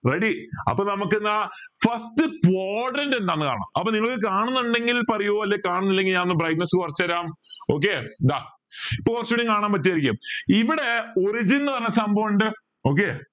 ready അപ്പൊ നമക്ക് എന്ന first quadrant എന്താന്ന് കാണാം അപ്പൊ നിങ്ങൾ കാണുന്നുണ്ടെങ്കിൽ പറയു അല്ലേൽ കാണുന്നില്ലെങ്കിൽ ഞാൻ ഒന്ന് brightness കുറച്ച് തരാം okay ദാ ഇപ്പൊ കുറച്ചൂടെ കാണാൻ പറ്റു ആയിരിക്കും ഇവിടെ origin എന്ന് പറഞ്ഞ സംഭവം ഇണ്ട്